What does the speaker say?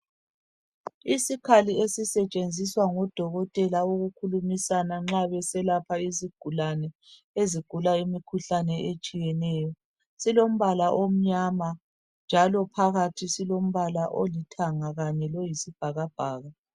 Isikhali esisetshenziswa ngodokotela ukukhulumisana nxa beselapha izigulane ezigula imikhuhlane etshiyeneyo silombala omnyama njalo phakathi silombala olithanga Kanye loyisibhakabhaka